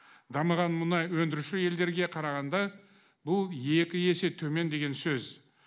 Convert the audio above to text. дамыған мұнай өндіруші елдерге қарағанда бұл екі есе төмен деген сөз